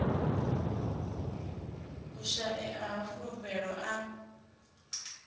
u shaea ha fulufhelo a